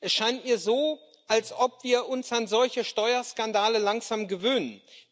Es scheint mir so, als ob wir uns an solche Steuerskandale langsam gewöhnen.